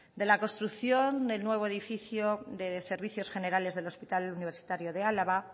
de la construcción del nuevo edificio de servicios generales del hospital universitario de álava